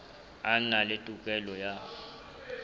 a na le tokelo ya